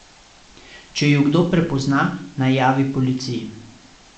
Če ju kdo prepozna, naj javi policiji.